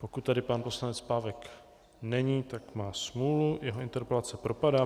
Pokud tady pan poslanec Pávek není, tak má smůlu, jeho interpelace propadá.